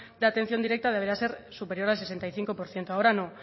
de atención directa deberá ser superior al sesenta y cinco por ciento ahora no